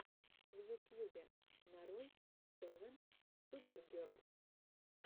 в ютьюбе нарой севен супер герлс